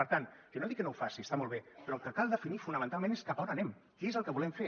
per tant jo no dic que no ho faci està molt bé però el que cal definir fonamentalment és cap on anem què és el que volem fer